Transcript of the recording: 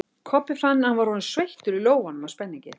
Kobbi fann að hann var orðinn sveittur í lófunum af spenningi.